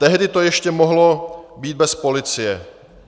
Tehdy to ještě mohlo být bez policie.